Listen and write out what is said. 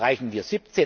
Erreichen wir